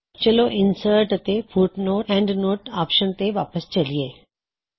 ਚਲੋ ਇਨਸਰਟ ਅਤੇ footnote endnote option ਤੇ ਵਾਪਸ ਚਲਿਯੇ